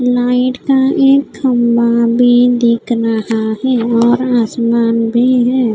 Light का एक खम्बा भी दिख रहा है और आसमान भी है।